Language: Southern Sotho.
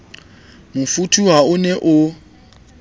mofuthu ha o ne o